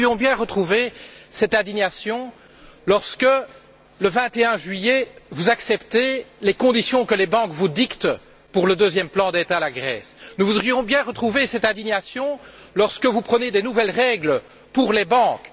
Nous aurions voulu retrouver cette indignation lorsque, le 21 juillet, vous acceptiez les conditions que les banques vous dictaient pour le deuxième plan d'aide à la Grèce. Nous aurions voulu retrouver cette indignation, lorsque vous adoptiez de nouvelles règles pour les banques.